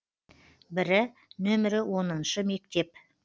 бірі нөмірі оныншы мектеп